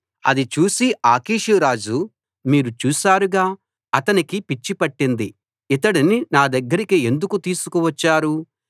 అది చూసి ఆకీషు రాజు మీరు చూశారుగా అతనికి పిచ్చి పట్టింది ఇతడిని నా దగ్గరికి ఎందుకు తీసుకువచ్చారు